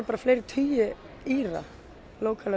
bara fleiri tugi Íra